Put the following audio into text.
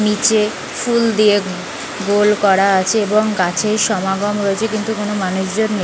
নিচে-এ ফুল দিয়ে গোল করা আছে এবং গাছে সমাগম রয়েছে কিন্তু কোনো মানুষজন নে --